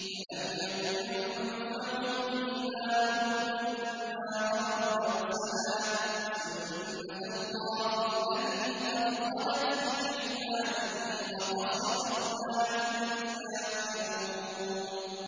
فَلَمْ يَكُ يَنفَعُهُمْ إِيمَانُهُمْ لَمَّا رَأَوْا بَأْسَنَا ۖ سُنَّتَ اللَّهِ الَّتِي قَدْ خَلَتْ فِي عِبَادِهِ ۖ وَخَسِرَ هُنَالِكَ الْكَافِرُونَ